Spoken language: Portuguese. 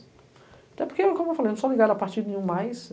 Até porque, como eu falei, eu não sou ligado a partido nenhum mais.